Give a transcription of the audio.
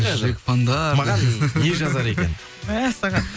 жүрек фандар маған не жазар екен мәссаған